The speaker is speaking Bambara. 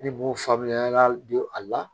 Ne b'o faa bilen an y'a don a la